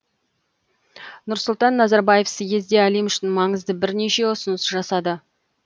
нұрсұлтан назарбаев съезде әлем үшін маңызды бірнеше ұсыныс жасады